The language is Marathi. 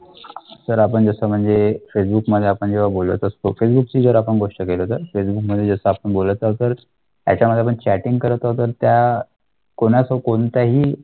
तर आपण जैसा म्हणजे फेसबुक मध्ये आपण जेव्हा बोलत असतो फेसबुकची जर आपण गोष्ट केला तर फेसबुकध्ये आपण बोलायचं तर त्याच्यामध्ये पण चॅटिंग करत होता त्या कोणाचा कोणताही